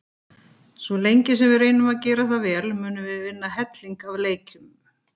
Svo lengi sem við reynum að gera það vel munum við vinna helling af leikjum.